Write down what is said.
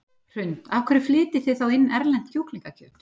Hrund: Af hverju flytjið þið þá inn erlent kjúklingakjöt?